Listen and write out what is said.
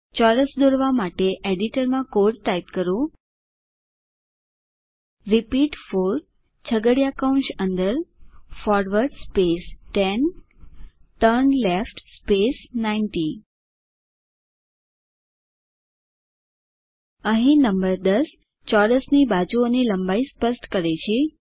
ચોરસ દોરવા માટે એડિટરમાં કોડ ટાઇપ કરો રિપીટ 4 છગડીયા કૌંશ અંદર ફોરવર્ડ 10 ટર્નલેફ્ટ 90 અહીં નંબર 10 ચોરસની બાજુઓની લંબાઈ સ્પષ્ટ કરે છે